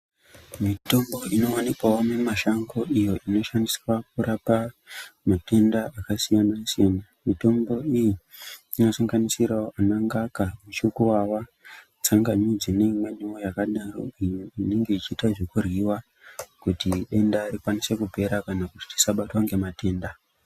Mitombo inowanikwawo mumashango iyo inoshandiswa kurapa matenda akasiyana siyana mitombo iyi inosanganisirawo ana ngaka, muchukuwawa, tsangamidzi neimweniwo yakadaro iyo inonge ichiita zvekuryiwa kuti denda rikwanise kupera kana kuti tisabatwa nematenda